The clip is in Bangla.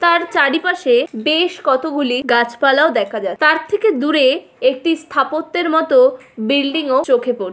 তার চারিপাশে বেশ কতগুলি গাছ পালাও দেখা যায় তার থেকে দূরে একটি স্থাপত্যের মতো বিল্ডিং -ও চোখে পড়--